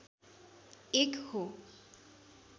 एक हो।